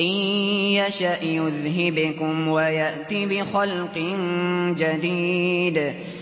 إِن يَشَأْ يُذْهِبْكُمْ وَيَأْتِ بِخَلْقٍ جَدِيدٍ